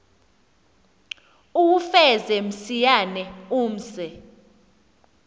uwufeze msinyane umse